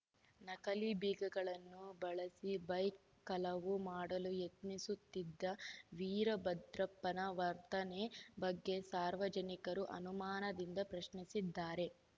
ನಕಲಿ ಬೀಗಗಳನ್ನು ಬಳಸಿ ಬೈಕ್‌ ಕಲವು ಮಾಡಲು ಯತ್ನಿಸುತ್ತಿದ್ದ ವೀರಭದ್ರಪ್ಪನ ವರ್ತನೆ ಬಗ್ಗೆ ಸಾರ್ವಜನಿಕರು ಅನುಮಾನದಿಂದ ಪ್ರಶ್ನಿಸಿದ್ದಾರೆ